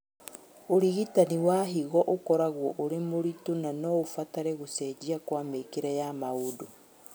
ũrigitani wa higo ũkoragwo ũrĩ mũritũ na noũbatare gũcenjia kwa mĩkĩre ya maũndũ